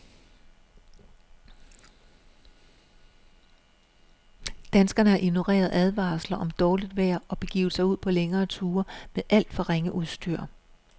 Danskerne har ignoreret advarsler om dårligt vejr og begivet sig ud på længere ture med alt for ringe udstyr.